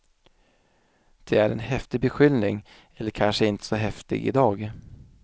Det är en häftig beskyllning, eller kanske inte så häftig i dag.